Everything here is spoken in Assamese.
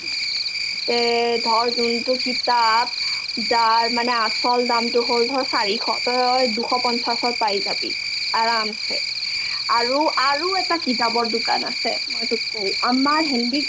তে ধৰ যোনতো কিতাপ যাৰ মানে আচল দামতো হ'ল ধৰ চাৰিশ তই দুশ পঞ্চাশত পাই যাবি আৰামছে আৰু আৰু এটা কিতাপৰ দোকান আছে মই তোক কও আমাৰ হেণ্ডিক